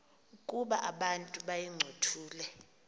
ukuba abantu bayincothule